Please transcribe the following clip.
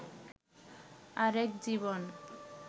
আরেক জীবন